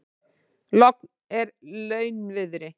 Logn er launviðri.